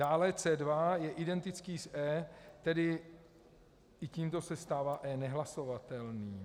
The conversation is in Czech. Dále C2 je identický s E, tedy tímto se stává E nehlasovatelný.